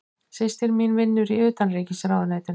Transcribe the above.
Systir mín vinnur í Utanríkisráðuneytinu.